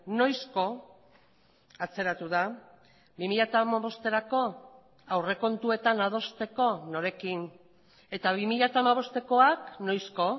noizko atzeratu da bi mila hamabosterako aurrekontuetan adosteko norekin eta bi mila hamabostekoak noizko